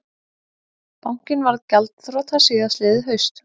Bankinn varð gjaldþrota síðastliðið haust